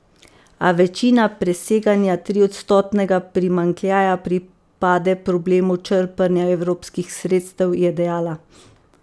A večina preseganja triodstotnega primanjkljaja pripade problemu črpanja evropskih sredstev, je dejala.